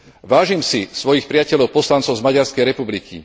Vážim si svojich priateľov, poslancov z Maďarskej republiky.